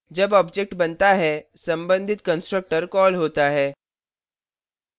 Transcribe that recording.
जब object बनता है संबंधित constructor कॉल होता है